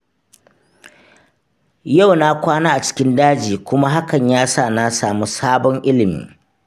Yau na kwana a cikin daji kuma hakan ya sa na samu sabon ilmi